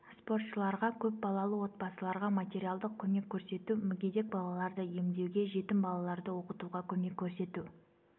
спортшыларға көпбалалы отбасыларға материалдық көмек көрсету мүгедек балаларды емдеуге жетім балаларды оқытуға көмек көрсету